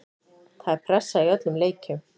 Það er pressa í öllum leikjum.